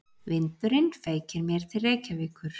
Vindurinn feykir mér til Reykjavíkur.